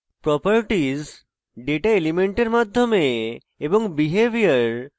properties data elements মাধ্যমে এবং